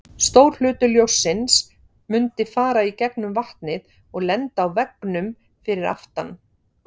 Stór hluti ljóssins mundi fara í gegnum vatnið og lenda á veggnum fyrir aftan.